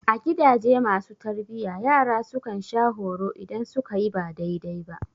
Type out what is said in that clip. A gidaje masu tarbiyya, yara su kan sha horo idan su ka yi ba daidai ba.